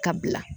Ka bila